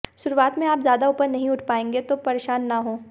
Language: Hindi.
शरुआत में आप ज़्यादा ऊपर नहीं उठ पायेंगे तो परेशान न हों